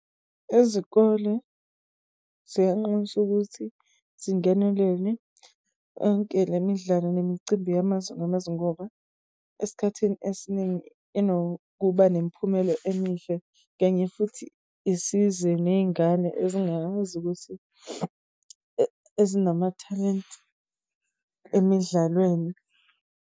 Izikole ziyanxuswa ukuthi zingenelele onke lemidlalo nemicimbi yamazwe ngamazwe, ngoba esikhathini esiningi inokuba nemiphumelo emihle. Kanye futhi isize ney'ngane ezingakwazi ukuthi ezinamathalente emidlalweni.